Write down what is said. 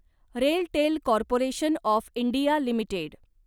RailTel Corporation of India limited